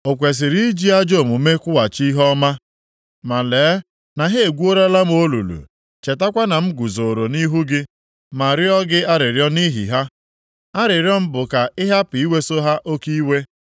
O kwesiri iji ajọ omume kwụghachi ihe ọma? Ma lee na ha egwuolara m olulu. Chetakwa na m guzooro nʼihu gị ma rịọ gị arịrịọ nʼihi ha. Arịrịọ m bụ ka ị hapụ iweso ha oke iwe.